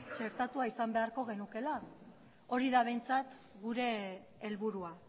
txertatua izan beharko genukeela hori da behintzat gure helburua